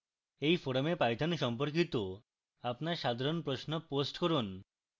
এই forum python সম্পর্কিত আপনার সাধারণ প্রশ্ন post করুন